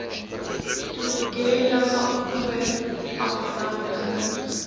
tugela oewer aflandige